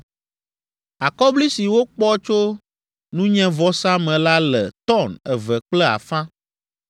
Akɔbli si wokpɔ tso nunyevɔsa me la le “tɔn” eve kple afã,